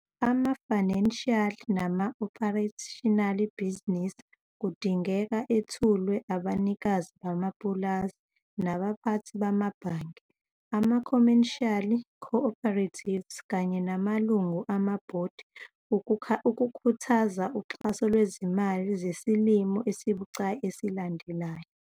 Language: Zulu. Ama-financial nama-operational bhizinisi kudingeka ethulwe abanikazi bamapulazi nabaphathi bamabhange, ama-commercial co-operatives kanye namalungu amabhodi ukukhuthaza uxhaso lwezimali zesilimo esibucayi esilandelayo.